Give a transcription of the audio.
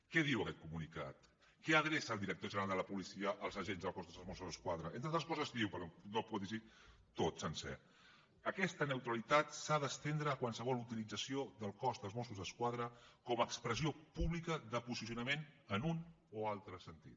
què diu aquest comunicat què adreça el director general de la policia als agents del cos de mossos d’esquadra entre altres coses diu perquè no ho puc llegir tot sencer aquesta neutralitat s’ha d’estendre a qualsevol utilització del cos de mossos d’esquadra com a expressió pública de posicionament en un o altre sentit